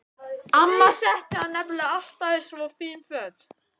Amma setti hann nefnilega alltaf í svo fín föt.